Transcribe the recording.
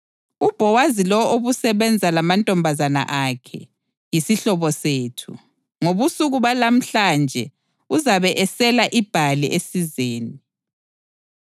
UBhowazi lo obusebenza lamantombazana akhe, yisihlobo sethu. Ngobusuku balamhlanje uzabe esela ibhali esizeni.